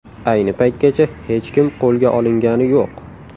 Ayni paytgacha hech kim qo‘lga olingani yo‘q.